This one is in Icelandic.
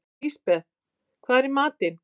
Lisbeth, hvað er í matinn?